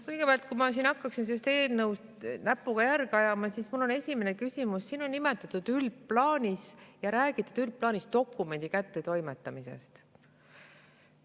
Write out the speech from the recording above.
Kõigepealt, kui ma hakkaksin selles eelnõus näpuga järge ajama, on mul esimene küsimus – siin on räägitud üldplaanis dokumendi kättetoimetamisest.